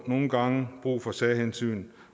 nogle gange brug for særhensyn